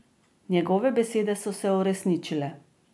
Njegove besede so se uresničile.